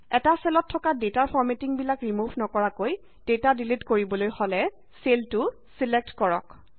এটা চেলত থকা ডেটাৰ ফৰমেটিংবিলাক ৰিমভ নকৰাকৈ ডাটা ডিলিট কৰিবলৈ হলে চেলটো ছিলেক্ট কৰক